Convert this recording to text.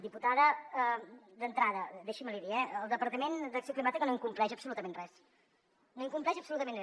diputada d’entrada deixi’m l’hi dir eh el departament d’acció climàtica no incompleix absolutament res no incompleix absolutament res